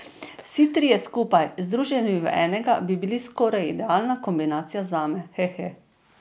Vsi trije skupaj, združeni v enega, bi bili skoraj idealna kombinacija zame, hehe.